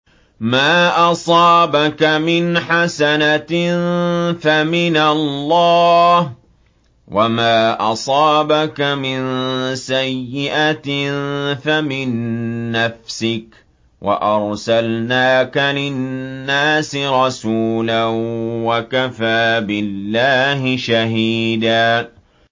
مَّا أَصَابَكَ مِنْ حَسَنَةٍ فَمِنَ اللَّهِ ۖ وَمَا أَصَابَكَ مِن سَيِّئَةٍ فَمِن نَّفْسِكَ ۚ وَأَرْسَلْنَاكَ لِلنَّاسِ رَسُولًا ۚ وَكَفَىٰ بِاللَّهِ شَهِيدًا